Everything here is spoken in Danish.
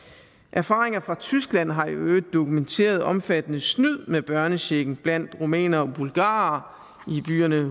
erfaringer fra tyskland har i øvrigt dokumenteret omfattende snyd med børnechecken blandt rumænere og bulgarere i byerne